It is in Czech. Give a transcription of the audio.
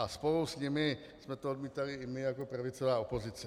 A spolu s nimi jsme to odmítali i my jako pravicová opozice.